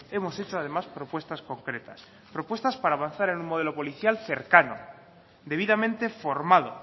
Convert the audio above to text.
hemos hecho además propuestas concretas propuestas para avanzar en un modelo policial cercano debidamente formado